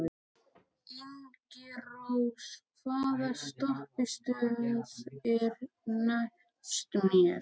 Ingirós, hvaða stoppistöð er næst mér?